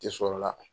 Tɛ sɔrɔ la